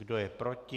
Kdo je proti?